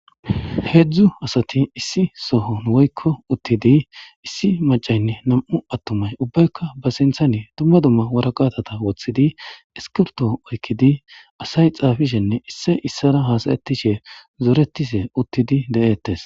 Deedzdzu asati issi sohon woykko uttidi issi macaynne nam'u attumay ubbaykka ba sinthane dumma dumma waraqatata woththidi eskirto oykidi asay xaafishenne isse issara haasayettishe zoretise uttidi de'ettes.